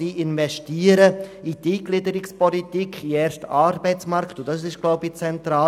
Er investiert in die Eingliederungspolitik, in den ersten Arbeitsmarkt, und das ist zentral.